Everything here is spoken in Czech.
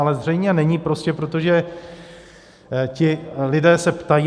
Ale zřejmě není, prostě protože ti lidé se ptají.